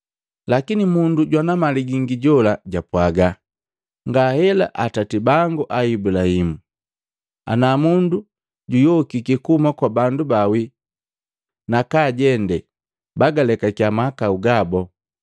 Lakini mundu jwana mali gingi jola japwaaga, ‘Ngahela atati bangu a Ibulahimu! Ana mundu juyokiki kuhuma kwa bandu bawii nakaajende, bagalekakiya mahakau gabu.’